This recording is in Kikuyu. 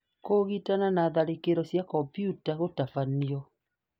Kũũgitana' na tharĩkĩro cia kompiuta gũtabania